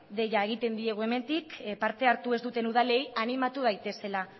deia egiten diogu hemendik parte hartu ez duten udalei animatu daitezela